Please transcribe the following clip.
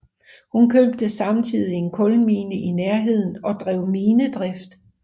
Hun købte samtidigt en kulmine i nærheden og drev minedrift